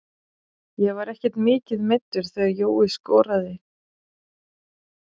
Ég var ekkert mikið meiddur þegar Jói skoraði.